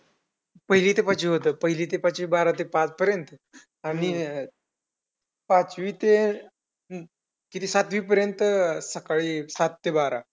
ते तर झालंच टपोरी मुलं कमीच पण अजून एक समस्या आहे हे खूप मोठी होती ती म्हणजे light ची सुविधा